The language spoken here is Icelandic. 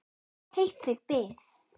Heitt þig bið!